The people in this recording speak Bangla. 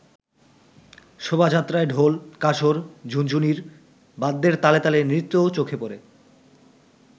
শোভা যাত্রায় ঢোল, কাসর, ঝুনঝুনির বাদ্যের তালে তালে নৃত্যও চোখে পড়ে।